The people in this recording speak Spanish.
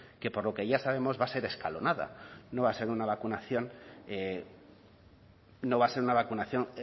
que por lo que ya sabemos va a ser escalonada no va a ser una vacunación no va a ser una vacunación